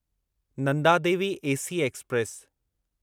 Nanda Devi AC express